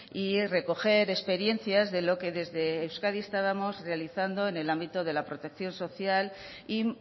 y recoger experiencias de lo que desde euskadi estábamos realizando en el ámbito de la protección social y